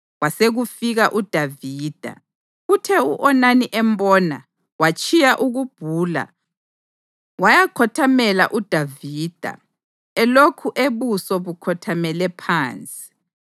Kwasekufika uDavida, kuthe u-Onani embona, watshiya ukubhula wayakhothamela uDavida elokhu ebuso bukhothamele phansi.